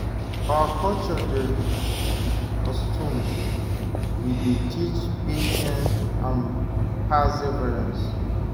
Our culture dey rich with customs wey dey teach patience and perseverance.